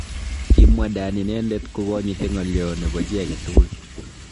Kimwa Dan inendet kokonyiti ngalyo nebo chi age tugul.